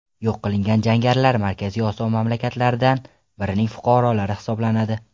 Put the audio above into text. Yo‘q qilingan jangarilar Markaziy Osiyo mamlakatlaridan birining fuqarolari hisoblanadi.